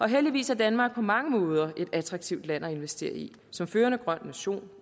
heldigvis er danmark på mange måder et attraktivt land at investere i som førende grøn nation